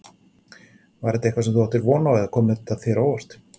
Var þetta eitthvað sem þú áttir von á eða kom þetta þér á óvart?